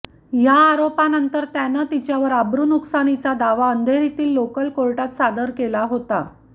या आरोपानंतर त्याने तिच्यावर अब्रुनुकसानीचा दावा अंधेरीतील लोकल कोर्टात सादर केला होता